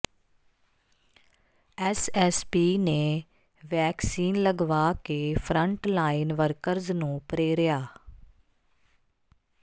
S S P ਨੇ vaccine ਲਗਵਾ ਕੇ ਫਰੰਟਲਾਈਨ ਵਰਕਰਸ ਨੂੰ ਪ੍ਰੇਰਿਆ